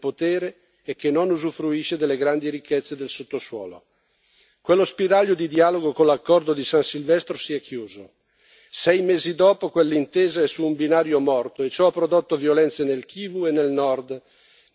Quello spiraglio di dialogo con l'accordo di San Silvestro si è chiuso. Sei mesi dopo quell'intesa è su un binario morto e ciò ha prodotto violenze nel Kivu e nel Nord, nell'Ituri fino al ricchissimo Katanga, nel Sud, per arrivare al dramma del Kasai.